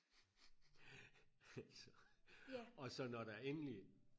altså og så når der endelig